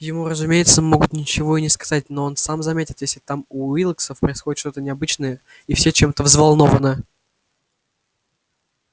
ему разумеется могут ничего и не сказать но он сам заметит если там у уилксов происходит что-то необычное и все чем-то взволнованы